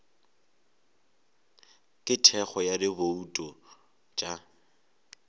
ka thekgo ya dibouto tša